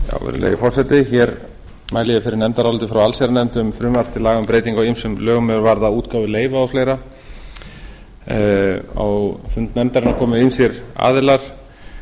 virðulegi forseti hér mæli ég fyrir nefndaráliti frá allsherjarnefnd um frumvarp til laga um breytingu á ýmsum lögum er varða útgáfu leyfa og fleira á fund nefndarinnar komu ýmsir aðilar